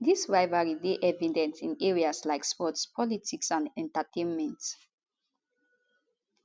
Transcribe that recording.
dis rivalry dey evident in areas like sports politics and entertainment